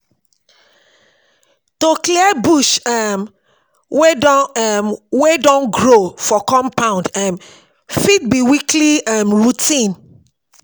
To clear bush um wey don um wey don grow for compound um fit be weekly um routine